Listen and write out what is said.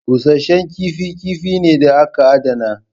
Busashen kifi kifi ne da aka adana.